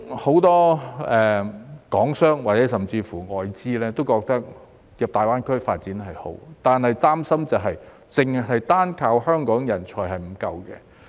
很多港商甚或外資也認為進入大灣區發展是好的，但擔心單靠香港人才是不足夠的。